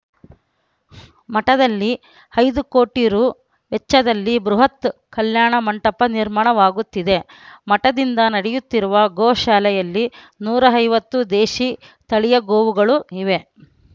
ಮಠದಲ್ಲಿ ಐದು ಕೋಟಿ ರು ವೆಚ್ಚದಲ್ಲಿ ಬೃಹತ್‌ ಕಲ್ಯಾಣ ಮಂಟಪ ನಿರ್ಮಾಣವಾಗುತ್ತಿದೆ ಮಠದಿಂದ ನಡೆಯುತ್ತಿರುವ ಗೋ ಶಾಲೆಯಲ್ಲಿ ನೂರ ಐವತ್ತು ದೇಶೀ ತಳಿಯ ಗೋವುಗಳು ಇವೆ